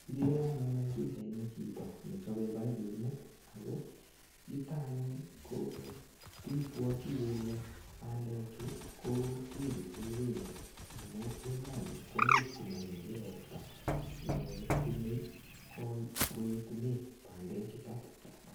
Kigere anyun eng pichaini chito nechope paipinik ago yuto anyun ko kibwati kele bandechu ko, kepise beeko amu emoni komuch komanyoru ropta ne yamei koetune bandechuto.